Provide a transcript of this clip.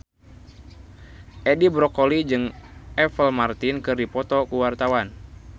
Edi Brokoli jeung Apple Martin keur dipoto ku wartawan